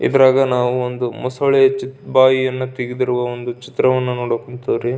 ಇದರಾಗ ನಾವು ಒಂದು ಮೋಸಳೆ ಬಾಯನ್ನು ತೆಗೆದಿರುವ ಒಂದು ಚಿತ್ರವನ್ನು ನೋಡುಉಂತಾವ್ರಿ.